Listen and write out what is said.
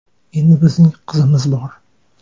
Endi bizning qizimiz bor.